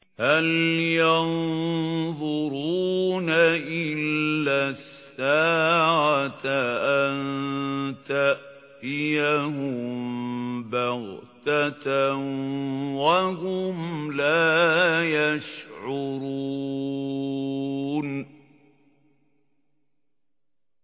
هَلْ يَنظُرُونَ إِلَّا السَّاعَةَ أَن تَأْتِيَهُم بَغْتَةً وَهُمْ لَا يَشْعُرُونَ